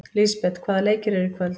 Lisbeth, hvaða leikir eru í kvöld?